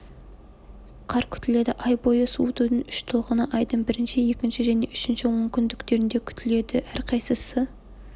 қар күтіледі ай бойы суытудың үш толқыны айдың бірінші екінші және үшінші онкүндіктерінде күтіледі әрқайсысы